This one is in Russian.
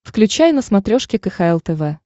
включай на смотрешке кхл тв